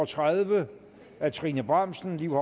og tredive af trine bramsen liv